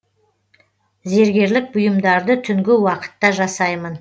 зергерлік бұйымдарды түнгі уақытта жасаймын